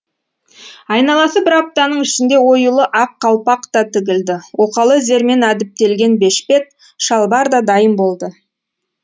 айналасы бір аптаның ішінде оюлы ақ қалпақ та тігілді оқалы зермен әдіптелген бешпет шалбар да дайын болды